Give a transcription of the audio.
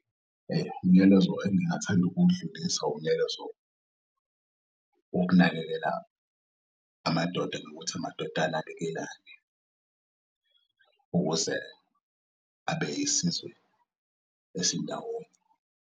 Umyalezo engingathand'ukuwudlulisa umyalezo wokunakekela amadoda nokuthi amadoda anakekelane ukuze abe siyisizwe esindawonye.